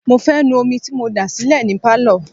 mo fẹ́ nu omi tí mo dà sílẹ̀ ní Pálọ̀.